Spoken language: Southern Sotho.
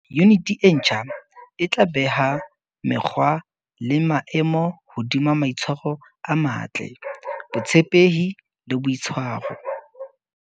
Yuniti e ntjha e tla beha mekgwa le maemo hodima maitshwaro a matle, botshepehi e boitshwaro.